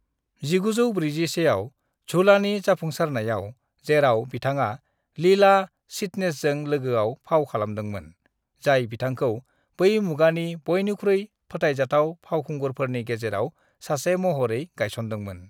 "1941आव झूलानि जाफुंसारनाय, जेराव बिथाङा लीला चिटनेसजों लोगोआव फाव खालामदोंमोन, जाय बिथांखौ बै मुगानि बयनिख्रुइ फोथायजाथाव फावखुंगुरफोरनि गेजेराव सासे महरै गायसनदोंमोन।"